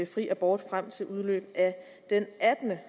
fri abort frem til udløbet af den attende